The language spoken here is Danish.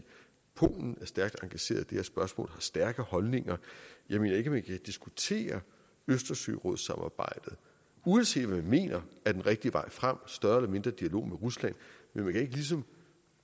polen er stærkt engageret i det her spørgsmål har stærke holdninger jeg mener ikke at man kan diskutere østersørådssamarbejdet uanset hvad vi mener er den rigtige vej frem større eller mindre dialog med rusland men man kan ikke ligesom